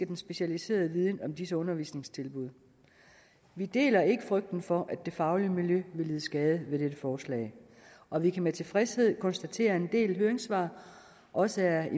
den specialiserede viden om disse undervisningstilbud vi deler ikke frygten for at det faglige miljø vil lide skade med dette forslag og vi kan med tilfredshed konstatere at en del høringssvar også er